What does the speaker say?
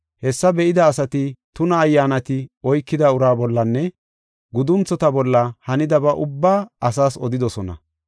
Hessa be7ida asati tuna ayyaanati oykida uraa bollanne gudunthota bolla hanidaba ubbaa asaas odidosona.